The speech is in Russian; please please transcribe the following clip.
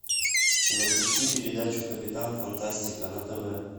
запусти передачу капитан фантастика на тв